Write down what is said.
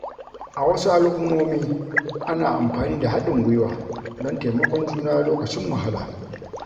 A wasu al’ummomi, ana amfani da haɗin gwiwa don taimakon juna lokacin wahala.